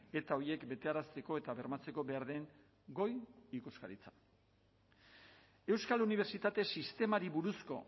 eta horiek betearazteko eta bermatzeko behar den goi ikuskaritza euskal unibertsitate sistemari buruzko